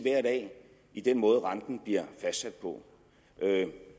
i den måde renten bliver fastsat på